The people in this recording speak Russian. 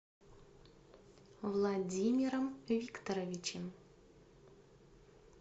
владимиром викторовичем